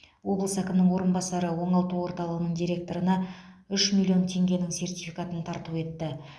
облыс әкімінің орынбасары оңалту орталығының директорына үш миллион теңгенің сертификатын тарту етті